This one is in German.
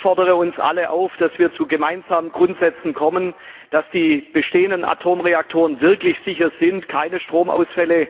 Ich fordere uns alle auf, dass wir zu gemeinsamen Grundsätzen kommen, damit die bestehenden Atomreaktoren wirklich sicher sind, keine Stromausfälle